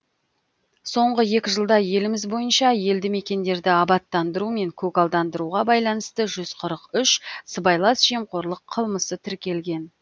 соңғы екі жылда еліміз бойынша елді мекендерді абаттандыру мен көгалдандыруға байланысты жүз қырық үш сыбайлас жемқорлық қылмысы тіркелген